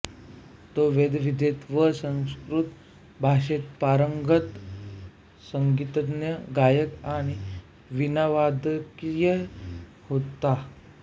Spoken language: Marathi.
तो वेदविद्येत व संस्कृत भाषेत पारंगत संगीतज्ञ गायक आणि वीणावादकही होता